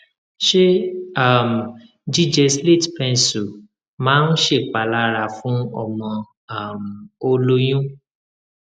ṣé um jíjẹ slate pencil máa ń ṣèpalára fún ọmọ um o lóyún